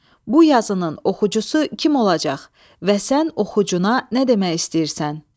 Bu yazının oxucusu kim olacaq və sən oxucuna nə demək istəyirsən?